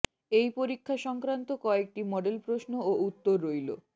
এই পরীক্ষা সংক্রান্ত কয়েকটি মডেল প্রশ্ন ও উত্তর রইল